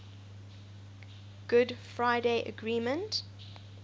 good friday agreement